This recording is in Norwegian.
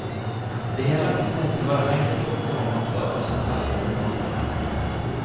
Det hele er kokt ned til hva den enkelte orker og makter av sannferdig levemåte.